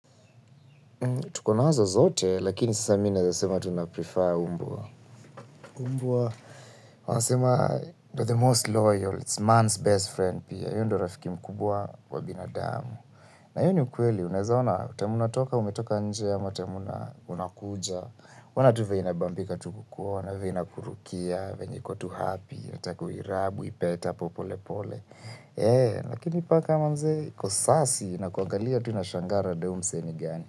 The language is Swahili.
Tuko nazo zote, lakini sasa mi naeza sema tunaprefer mbwa. Mbwa. Wanasema ndo, the most loyal, it's man's best friend pia. Hiyo ndo rafiki mkubwa wa binadamu. Na hiyo ni ukweli, unaeza ona, time unatoka umetoka nje, ama time unakuja. Ona tu venye inabambika tu kukuona, venye inakurukia, venye iko tu happy, inataku uirub, uipetapo polepole. Lakini paka, mazee, kusasi, inakuangalia tu inashangaa rada ya huyu msee ni gani.